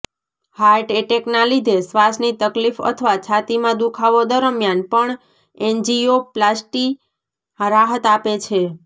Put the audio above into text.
heart એટેકના લીધે શ્વાસની તકલીફ અથવા છાતીમાં દુખાવો દરમિયાન પણ એન્જીયોપ્લાસ્ટી રાહત આપે છે